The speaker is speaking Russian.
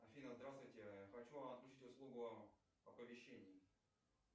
афина здравствуйте хочу отключить услугу оповещения